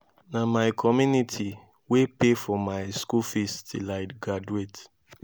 na my community wey pay for my school fees till i graduate